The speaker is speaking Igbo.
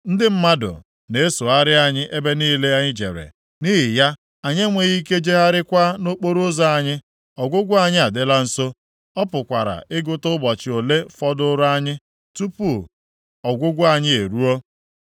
Ndị mmadụ na-esogharị anyị ebe niile anyị jere, nʼihi ya anyị enweghị ike jegharịakwa nʼokporoụzọ anyị. Ọgwụgwụ anyị adịla nso, a pụkwara ịgụta ụbọchị ole fọdụụrụ anyị, tupu ọgwụgwụ anyị eruo.